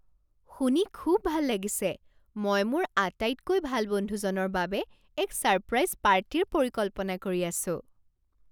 শুনি খুব ভাল লাগিছে! মই মোৰ আটাইতকৈ ভাল বন্ধুজনৰ বাবে এক ছাৰপ্ৰাইজ পাৰ্টীৰ পৰিকল্পনা কৰি আছোঁ।